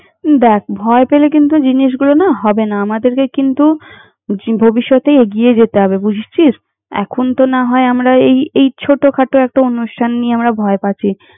দ্যাখ, ভয় পেলে কিন্তু জিনিসগুলো না হবে না। আমাদেরকে কিন্তু, জীব~ ভবিষ্যতেই এগিয়ে যেতে হবে, বুঝেছিস? এখন তো না হয় আমরা এই এই ছোটখাটো একটা অনুষ্ঠান নিয়ে আমরা ভয় পাচ্ছি।